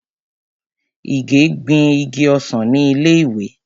Ìgè gbin igi ọsàn ni ilé ìwé.